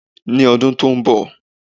Ní ọdún tó n bọ̀